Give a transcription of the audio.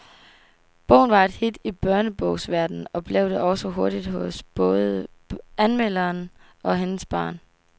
Bogen var et hit i børnebogsverdenen og blev det også hurtigt hos både anmelderen og hendes barn.